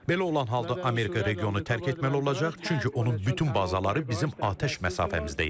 Belə olan halda Amerika regionu tərk etməli olacaq, çünki onun bütün bazaları bizim atəş məsafəmizdə yerləşir.